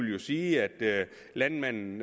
jo sige at landmanden